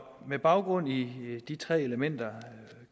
med baggrund i de tre elementer